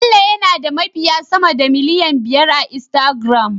Bello yana da mabiya sama da miliyan biyar a Instagram